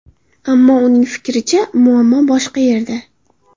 Ammo uning fikricha muammo boshqa yerda.